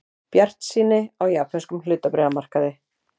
Bjartsýni á japönskum hlutabréfamarkaði